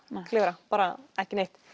klifra bara ekki neitt